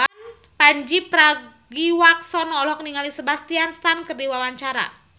Pandji Pragiwaksono olohok ningali Sebastian Stan keur diwawancara